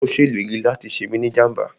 Ó ṣèlérí láti ṣe mí ni jàmbá